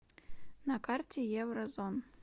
на карте еврозон